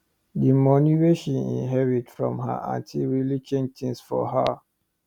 d moni wey she inherit from her anty really change tins for her